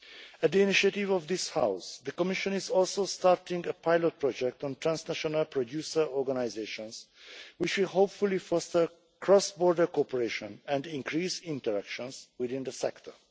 At the initiative of this House, the Commission is also starting a pilot project on trans national producer organisations, which will hopefully foster cross border cooperation and increase interactions within the sector.